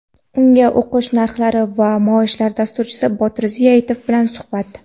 unga o‘qish narxlari va maoshlar - dasturchi Botir Ziyatov bilan suhbat.